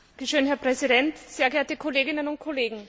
Herr Präsident, sehr geehrte Kolleginnen und Kollegen!